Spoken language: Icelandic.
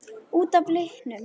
Út af litnum?